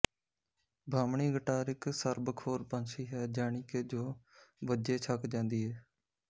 ਬਾਹਮਣੀ ਗਟਾਰ ਇੱਕ ਸਰਬਖੋਰ ਪੰਛੀ ਹੈ ਜਾਣੀਕੇ ਜੋ ਵੱਜੇ ਛਕ ਜਾਂਦੀ ਏ